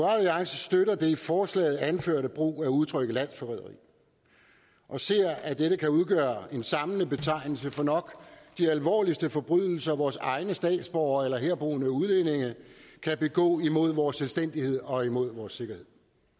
alliance støtter den i forslaget anførte brug af udtrykket landsforræderi og ser at dette kan udgøre en samlet betegnelse for nok de alvorligste forbrydelser vores egne statsborgere eller herboende udlændinge kan begå imod vores selvstændighed og imod vores sikkerhed